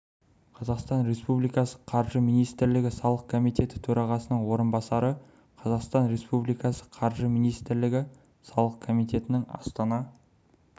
қазақстан республикасы қаржы министрлігі салық комитеті төрағасының орынбасары қазақстан республикасы қаржы министрлігі салық комитетінің астана